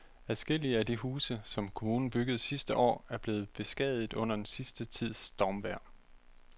Adskillige af de huse, som kommunen byggede sidste år, er blevet beskadiget under den sidste tids stormvejr.